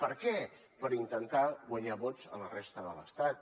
per què per intentar guanyar vots a la resta de l’estat